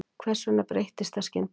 Hvers vegna breyttist það skyndilega?